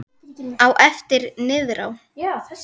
Á eftir niðrá